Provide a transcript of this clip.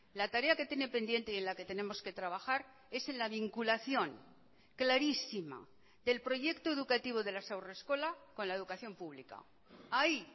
la tarea que tiene pendiente y en la que tenemos que trabajar es en la vinculación clarísima del proyecto educativo de las haurreskolak con la educación pública ahí